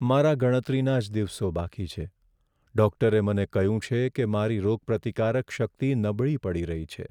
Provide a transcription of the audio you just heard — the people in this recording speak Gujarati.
મારા ગણતરીના જ દિવસો બાકી છે. ડૉક્ટરે મને કહ્યું છે કે મારી રોગપ્રતિકારક શક્તિ નબળી પડી રહી છે.